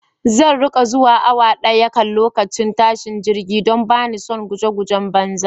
Zan riƙa zuwa awa daya kan lokacin tashin jirgi don bani son guje gujen banza